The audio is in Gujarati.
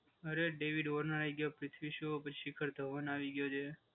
અરે ડેવિડ વોર્નર આઈ ગયો. પૃથ્વી શો પછી શેખર ધવન આવી ગયો છે.